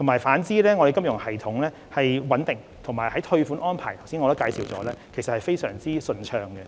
反之，本港的金融系統穩定，退款安排亦如我剛才所述十分順暢。